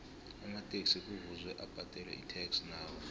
amataxi kuvuze abadele itax nawo